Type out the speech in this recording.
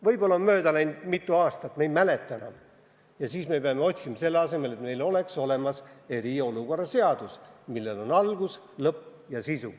Võib-olla on vahepeal mitu aastat mööda läinud, me ei mäleta enam, ja siis me peame otsima, selle asemel et meil oleks olemas eriolukorra seadus, millel on algus, lõpp ja sisu.